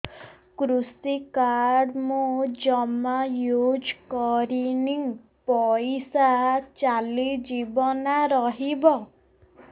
କୃଷି କାର୍ଡ ମୁଁ ଜମା ୟୁଜ଼ କରିନି ପଇସା ଚାଲିଯିବ ନା ରହିବ